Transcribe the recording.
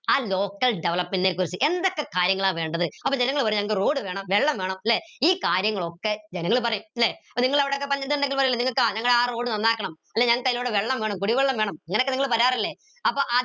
ആ local development നെ കുറിച്ച് എന്തൊക്കെ കാര്യങ്ങള വേണ്ടത് അപ്പൊ ജനങ്ങൾ പറയും ഞങ്ങക്ക് road വേണം വെള്ളം വേണം ല്ലെ ഈ കാര്യങ്ങളൊക്കെ ജനങ്ങൾ പറയും ല്ലെ അപ്പൊ നിങ്ങളവിടെ ഒക്കെ പണ്ട് ഞങ്ങള ആ road നന്നാക്കണം അല്ലെ ഞങ്ങക്കയിലൂടെ വെള്ളം വേണം കുടിവെള്ളം വേണം ഇങ്ങനൊക്കെ നിങ്ങൾ പറയാറില്ലേ അപ്പൊ ആ